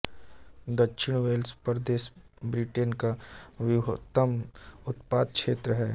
दक्षिण वेल्स प्रदेश ब्रिटेन का वृहत्तम उत्पादक क्षेत्र है